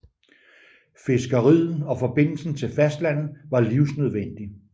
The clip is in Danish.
Fiskeriet og forbindelsen til fastlandet var livsnødvendig